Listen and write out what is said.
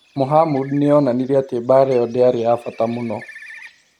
Mohamud nĩ onanirie atĩ mbaara ĩo ndĩarĩ ya bata mũno.